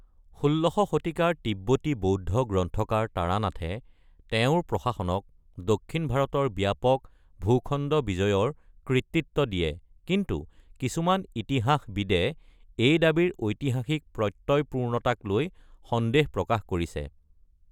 ১৬শ শতিকাৰ তিব্বতী বৌদ্ধ গ্ৰন্থকাৰ তাৰানাথে তেওঁৰ প্ৰশাসনক দক্ষিণ ভাৰতৰ ব্যাপক ভূখণ্ড বিজয়ৰ কৃতিত্ব দিয়ে, কিন্তু কিছুমান ইতিহাসবিদে এই দাবীৰ ঐতিহাসিক প্ৰত্য়য়পূৰ্ণতাক লৈ সন্দেহ প্ৰকাশ কৰিছে।